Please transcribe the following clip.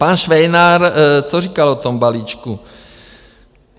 Pan Švejnar, co říkal o tom balíčku?